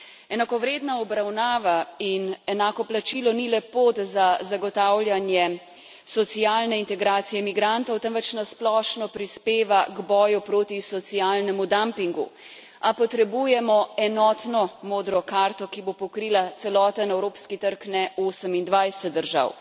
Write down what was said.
Enakovredna obravnava in enako plačilo ni le pot za zagotavljanje socialne integracije migrantov, temveč na splošno prispeva k boju proti socialnemu dampingu. A potrebujemo enotno modro karto, ki bo pokrila celoten evropski trg, ne 28 držav.